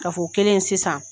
Kafo o kɛlen sisan